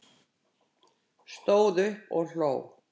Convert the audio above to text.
Stóð upp og hló